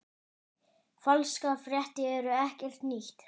Falskar fréttir eru ekkert nýtt.